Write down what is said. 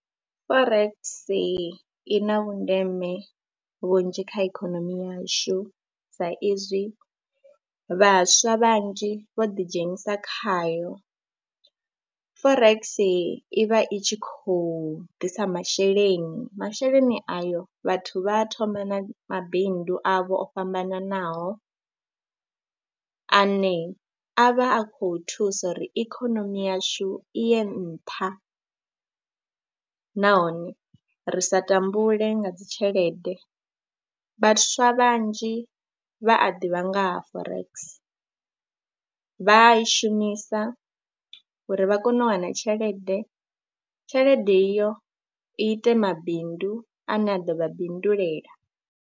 Forex i na vhundeme vhunzhi kha ikhonomi yashu saizwi vhaswa vhanzhi vho ḓidzhenisa khayo, Forex i vha i tshi khou ḓisa masheleni, masheleni ayo vhathu vha a thoma na mabindu avho o fhambananaho ane a vha a khou thusa uri ikonomi yashu i ye nṱha nahone ri sa tambule nga dzi tshelede. Vhaswa vhanzhi vha a ḓivha nga ha Forex, vha a i shumisa uri vha kone u wana tshelede, tshelede iyo ite mabindu ane a ḓo vha bindulela.